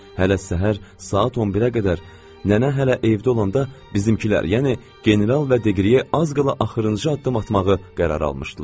Hələ səhər saat 11-ə qədər, nənə hələ evdə olanda bizimkilər, yəni general və deqriye az qala axırıncı addım atmağı qərar almışdılar.